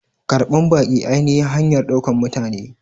Karban baƙi ainihin hanyar ɗaukar mutane.